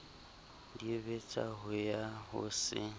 dibetsa ho ya ho se